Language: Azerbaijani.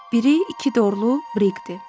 Biri iki dorlu Briqdir.